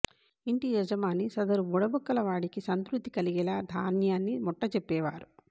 ఇంటి యజమాని సదరు బుడబుక్కల వాడికి సంతృప్తి కలిగేలా ధాన్యాన్ని ముట్టజెప్పేవారు